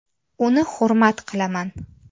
Uni hurmat qilaman.